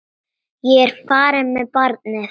Ég er farin með barnið!